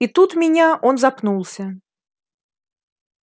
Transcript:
и тут меня он запнулся